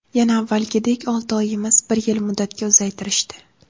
Yana avvalgidek olti oy emas, bir yil muddatga uzaytirishdi.